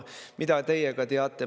"Mida teie ka teate?